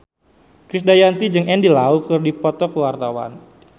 Krisdayanti jeung Andy Lau keur dipoto ku wartawan